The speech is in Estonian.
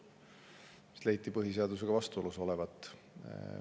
See leiti põhiseadusega vastuolus olevat.